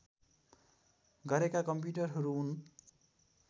गरेका कम्प्युटरहरू हुन्